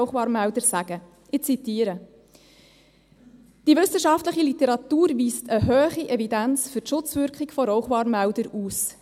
Ich zitiere: Die wissenschaftliche Literatur weise eine hohe Evidenz für die Schutzwirkung von Rauchwarnmeldern aus.